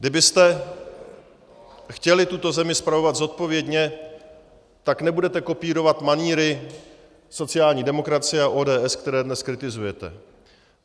Kdybyste chtěli tuto zemi spravovat zodpovědně, tak nebudete kopírovat manýry sociální demokracie a ODS, které dnes kritizujete.